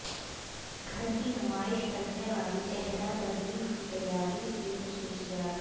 گھر کی نمائش کرنے والی چہرہ کریم کی تیاری کی خصوصیات